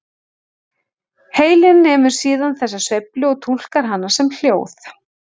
Heilinn nemur síðan þessa sveiflu og túlkar hana sem hljóð.